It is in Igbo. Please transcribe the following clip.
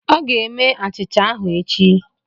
Ọ ga-eme achịcha ahụ echi.